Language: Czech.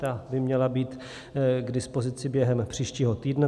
Ta by měla být k dispozici během příštího týdne.